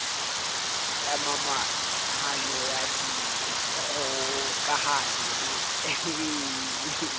ya momahanyo ya dikgokahanyo le